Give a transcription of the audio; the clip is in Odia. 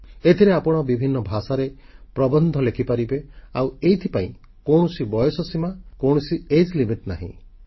ଏଥିରେ ଆପଣ ବିଭିନ୍ନ ଭାଷାରେ ପ୍ରବନ୍ଧ ଲେଖିପାରିବେ ଆଉ ଏଥିପାଇଁ କୌଣସି ବୟସ ସୀମା ରଖାଯାଇନାହିଁ